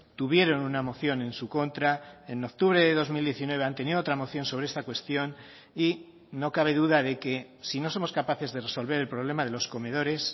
tuvieron una moción en su contra en octubre de dos mil diecinueve han tenido otra moción sobre esta cuestión y no cabe duda de que si no somos capaces de resolver el problema de los comedores